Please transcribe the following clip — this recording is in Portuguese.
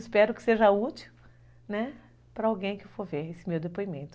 Espero que seja útil, né, para alguém que for ver esse meu depoimento.